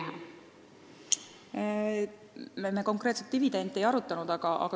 Me dividende konkreetselt ei arutanud.